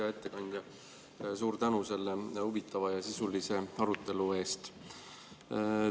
Hea ettekandja, suur tänu selle huvitava ja sisulise arutelu eest!